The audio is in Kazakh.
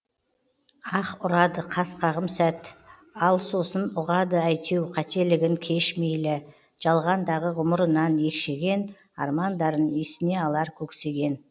ах ұрады қас қағым сәт ал сосын ұғады әйтеу қателігін кеш мейлі жалғандағы ғұмырынан екшеген армандарын есіне алар көксеген